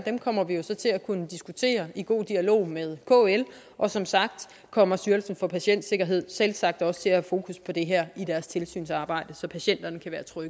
kommer vi jo så til at kunne diskutere i god dialog med kl og som sagt kommer styrelsen for patientsikkerhed selvsagt også til at have fokus på det her i deres tilsynsarbejde så patienterne